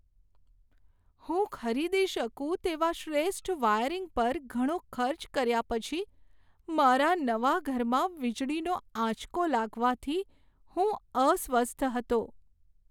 હું ખરીદી શકું તેવા શ્રેષ્ઠ વાયરિંગ પર ઘણો ખર્ચ કર્યા પછી મારા નવા ઘરમાં વીજળીનો આંચકો લાગવાથી હું અસ્વસ્થ હતો.